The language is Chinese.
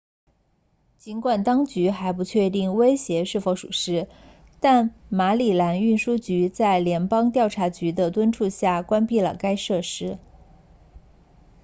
尽管当局还不确定威胁是否属实但马里兰运输局在联邦调查局的敦促下关闭了该设施